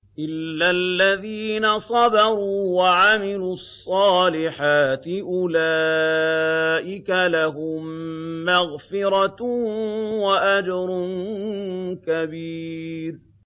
إِلَّا الَّذِينَ صَبَرُوا وَعَمِلُوا الصَّالِحَاتِ أُولَٰئِكَ لَهُم مَّغْفِرَةٌ وَأَجْرٌ كَبِيرٌ